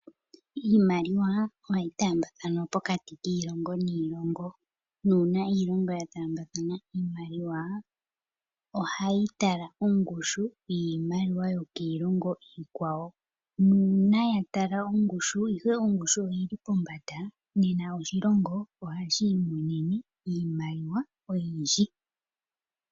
Iimaliwa oha yi taambathanwa pokati kiilongo niilongo. Uuna iilongo ya taambathana iimaliwa oha yi tala ongushu yiimaliwa yokiilongo iikwawo. Nuuna ya tala ongushu ihe ongushu oyi li pombanda nena oshilongo ohashi imonene iimaliwa oyindji.